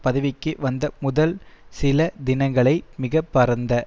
பதவிக்கு வந்த முதல் சில தினங்களை மிக பரந்த